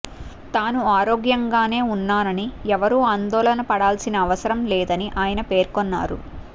తాను ఆరోగ్యంగానే ఉన్నానని ఎవరూ ఆందోళన పడాల్సిన అవసరం లేదని ఆయన పేర్కొన్నారు